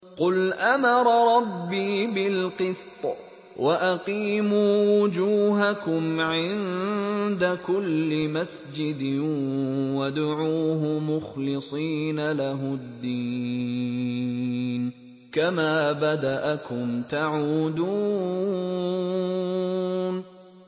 قُلْ أَمَرَ رَبِّي بِالْقِسْطِ ۖ وَأَقِيمُوا وُجُوهَكُمْ عِندَ كُلِّ مَسْجِدٍ وَادْعُوهُ مُخْلِصِينَ لَهُ الدِّينَ ۚ كَمَا بَدَأَكُمْ تَعُودُونَ